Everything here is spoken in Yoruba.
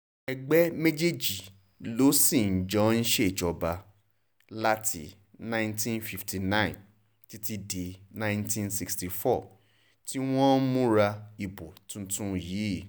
ẹgbẹ́ méjèèjì ló sì jọ ń ṣèjọba láti nineteen fifty nine títí di nineteen sixty four tí wọ́n ń múra ìbò tuntun yìí